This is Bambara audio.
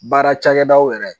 Baara cakɛdaw yɛrɛ.